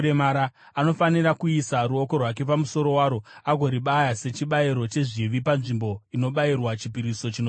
Anofanira kuisa ruoko rwake pamusoro waro agoribaya sechibayiro chezvivi panzvimbo inobayirwa chipiriso chinopiswa.